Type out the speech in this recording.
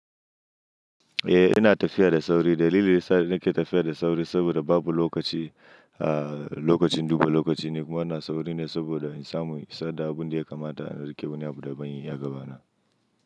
Eh, yana tafiya da sauri. Dalilin sa yake tafiya da sauri saboda babu lokaci, ah, lokacin dubu lokaci ne kuma ana sauri ne saboda in samu in isar da abun da ya kamata inrike wani abu daban a gabana.